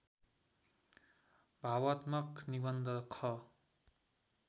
भावात्मक निबन्ध ख